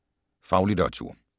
Faglitteratur